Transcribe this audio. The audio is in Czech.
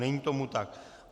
Není tomu tak.